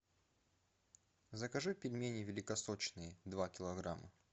закажи пельмени великосочные два килограмма